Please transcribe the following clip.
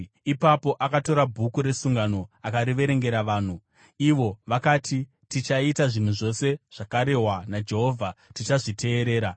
Ipapo akatora Bhuku reSungano akariverengera vanhu. Ivo vakati, “Tichaita zvinhu zvose zvakarehwa naJehovha; tichazviteerera.”